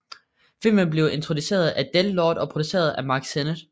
Filmen blev instrueret af Del Lord og produceret af Mark Sennett